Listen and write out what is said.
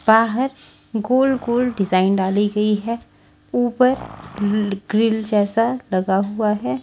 बाहर गोल गोल डिज़ाइन डाली गई है ऊपर ग्रिल जैसा लगा हुआ है।